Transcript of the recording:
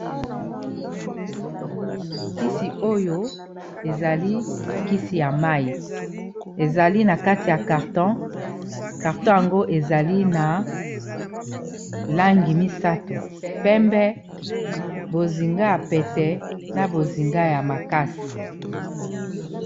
Kisi oyo ezali kisi ya mai ezali na kati ya carton carton yango ezali na langi misato pembe, bozinga, ya pete na bozinga ya makasi.